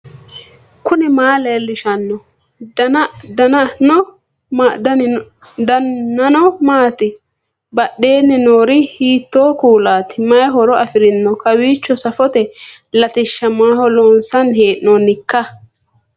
knuni maa leellishanno ? danano maati ? badheenni noori hiitto kuulaati ? mayi horo afirino ? kowiicho safote latishsha maaho loonsanni hee'noonnikka